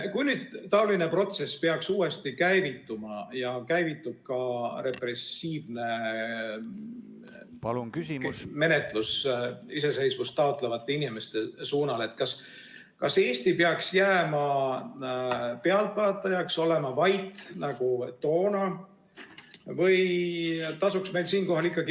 Kui nüüd peaks seesugune protsess uuesti käivituma ja käivitub ka repressiivne menetlus iseseisvust taotlevate inimeste suhtes, siis kas Eesti peaks jääma pealtvaatajaks, peaks olema vait nagu toona, või tasuks meil siinkohal meenutada ...